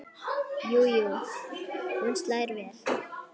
Jú jú, hún slær vel!